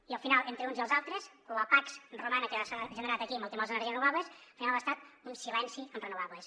i al final entre els uns i els altres la pax romana que s’ha generat aquí amb el tema de les energies renovables ha estat un silenci en renovables